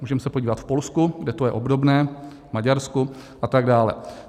Můžeme se podívat v Polsku, kde to je obdobné, v Maďarsku a tak dále.